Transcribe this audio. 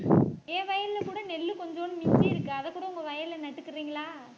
என் வயல்ல கூட நெல்லு கொஞ்சூண்டு மிஞ்சியிருக்கு அதைக்கூட உங்க வயல்ல நட்டுக்கிறீங்களா